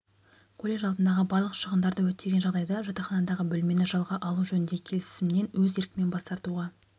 колледж алдындағы барлық шығындарды өтеген жағдайда жатақханадағы бөлмені жалға алу жөніндегі келісімнен өз еркімен бас тартуға